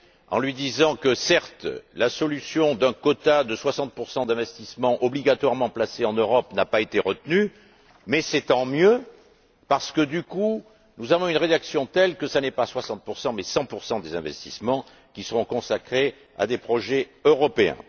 en lui disant que, certes, la solution d'un quota de 60 d'investissements obligatoirement placés en Europe n'a pas été retenue. Mais c'est tant mieux parce que, du coup, nous avons une rédaction telle que ce n'est pas 60 mais 100 des investissements qui seront consacrés à des projets européens.